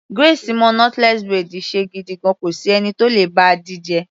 Grace mo knotless braid ṣe gidigan, kò sí ẹni tó le bá a díje.